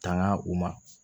Tanga u ma